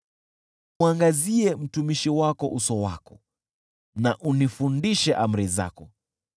Mwangazie mtumishi wako uso wako na unifundishe amri zako.